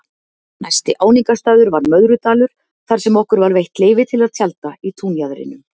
Næsti áningarstaður var Möðrudalur þarsem okkur var veitt leyfi til að tjalda í túnjaðrinum.